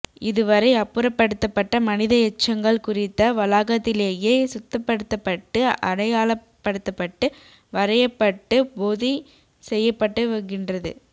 இதுவறை அப்புறப்படுத்தப்பட்ட மனித எச்சங்கள் குறித்த வளாகத்திலேயே சுத்தப்படுத்தப்பட்டு அடையாளப்படுத்தப்பட்டு வரையப்பட்டு பொதி செய்யப்பட்டுகின்றது